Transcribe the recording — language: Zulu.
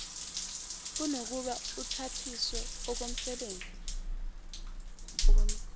kunokuba uthathiswe okomsebenzi